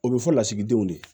O bɛ fɔ lasigidenw de